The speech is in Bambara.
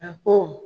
A ko